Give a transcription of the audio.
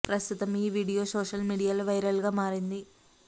ప్రస్తుతం ఈ video social మీడియాలో వైరల్ గా మారింది